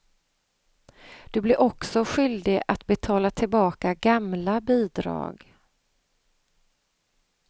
Du blir också skyldig att betala tillbaka gamla bidrag.